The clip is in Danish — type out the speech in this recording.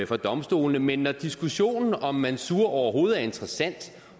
for domstolene men når diskussionen om mansour overhovedet er interessant